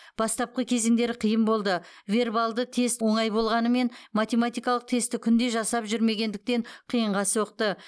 бастапқы кезеңдері қиын болды вербалды тест оңай болғанымен математикалық тестті күнде жасап жүрмегендіктен қиынға соқты